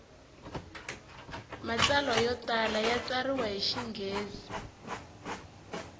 matsalwa yo tala ya tsariwa hi xinghezi